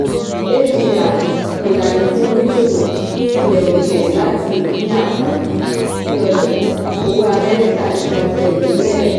adr - ìlànà fún oníṣòwò ilẹ̀-òkèèrè láti ní àǹfààní sí ọjà owó amẹ́ríkà nipasẹ̀ ìwé-ẹ̀rí.